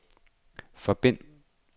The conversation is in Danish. forbind